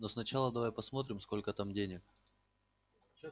но сначала давай посмотрим сколько там денег